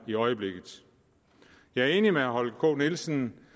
i øjeblikket jeg er enig med herre holger k nielsen